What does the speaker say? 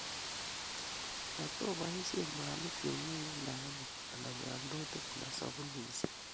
Matoboisien mwanik che ng'uu ne anyiny, anan nyamdutik, anan sabunisiek.